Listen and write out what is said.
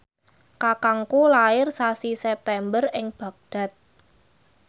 kakangku lair sasi September ing Baghdad